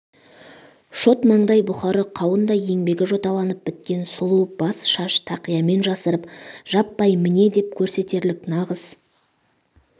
шот маңдай бұхары қауындай еңбегі жоталанып біткен сұлу бас шаш тақиямен жасырып жаппай міне деп көрсетерлік нағыз